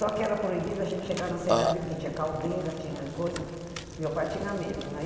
Só que era proibido a gente chegar na serraria, porque tinha caldeira, tinha coisa... Meu pai tinha medo, né?